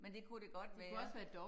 Men det kunne det godt være